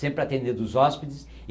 Sempre atendendo os hóspedes.